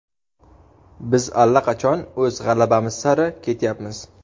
Biz allaqachon o‘z g‘alabamiz sari ketyapmiz.